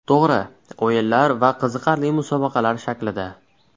To‘g‘ri, o‘yinlar va qiziqarli musobaqalar shaklida.